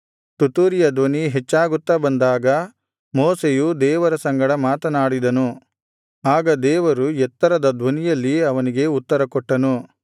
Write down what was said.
ತುತ್ತೂರಿಯ ಧ್ವನಿ ಹೆಚ್ಚಾಗುತ್ತಾ ಬಂದಾಗ ಮೋಶೆಯು ದೇವರ ಸಂಗಡ ಮಾತನಾಡಿದನು ಆಗ ದೇವರು ಎತ್ತರದ ಧ್ವನಿಯಲ್ಲಿ ಅವನಿಗೆ ಉತ್ತರಕೊಟ್ಟನು